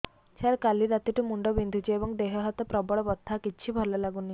ସାର କାଲି ରାତିଠୁ ମୁଣ୍ଡ ବିନ୍ଧୁଛି ଏବଂ ଦେହ ହାତ ପ୍ରବଳ ବଥା କିଛି ଭଲ ଲାଗୁନି